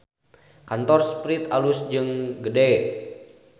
Kantor Sprite alus jeung gede